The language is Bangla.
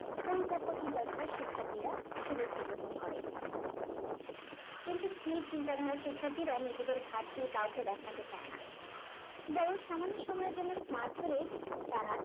পরিপক্ক চিন্তা ধারার শিক্ষার্থীরা সুযোগটি গ্রহণ করে কিন্তু স্থির চিন্তা ধারার শিক্ষার্থীরা নিজেদের ঘাড় দিয়ে কাউকে দেখতে চাই না বরং সামান্য সময়ের জন্য smart ধরে তারা